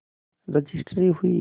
registry हुई